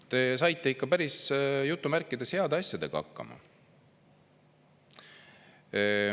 Te saite ikka päris "heade asjadega" hakkama.